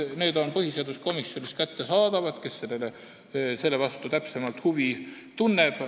Need on põhiseaduskomisjonis kättesaadavad, juhul kui keegi täpsemalt huvi tunneb.